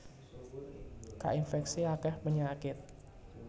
Kainfèksi akèh penyakit